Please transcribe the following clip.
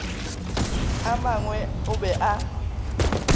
a mangwe o be a